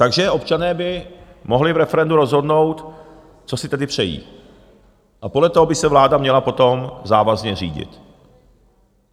Takže občané by mohli v referendu rozhodnout, co si tedy přejí, a podle toho by se vláda měla potom závazně řídit.